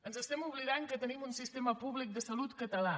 ens estem oblidant que tenim un sistema públic de salut català